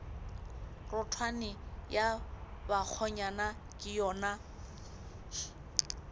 rotwane ya bakgonyana ke yona